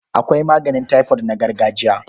Akwai maganin taifot na gargajiya.